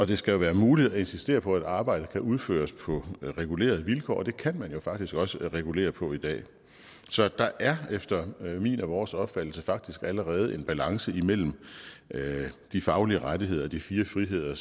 det skal være muligt at insistere på at arbejdet kan udføres på regulerede vilkår og det kan man jo faktisk også regulere på i dag så der er efter min og vores opfattelse faktisk allerede en balance imellem de faglige rettigheder og de fire friheder